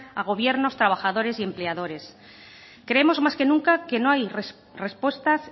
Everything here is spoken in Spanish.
a gobiernos trabajadores y empleadores creemos más que nunca que no hay respuestas